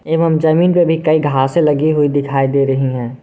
एवं जमीन पे भी कई घासे लगी हुई दिखाई दे रही है।